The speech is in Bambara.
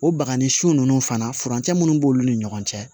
O bagani sun ninnu fana furancɛ minnu b'olu ni ɲɔgɔn cɛ